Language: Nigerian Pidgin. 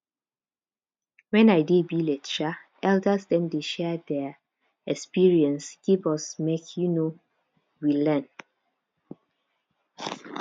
wen i dey village um elders dem dey share their experience give us make um we learn